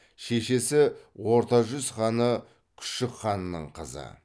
шешесі орта жүз ханы күшік ханның қызы